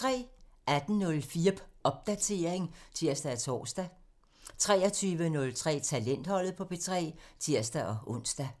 18:04: Popdatering (tir-tor) 23:03: Talentholdet på P3 (tir-ons)